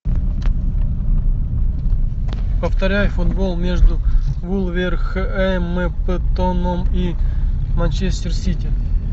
повторяй футбол между вулверхэмптоном и манчестер сити